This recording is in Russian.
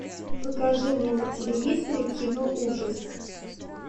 покажи мне на телевизоре кино ужас